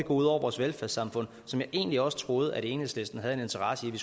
ud over vores velfærdssamfund som jeg egentlig også troede at enhedslisten havde en interesse i